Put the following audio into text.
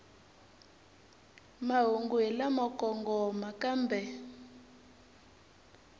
mahungu hi lamo kongoma kambe